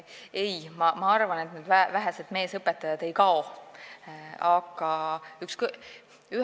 Ei, ma arvan, et need vähesed meesõpetajad koolist ei kao.